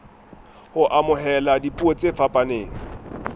ho amohela dipuo tse fapaneng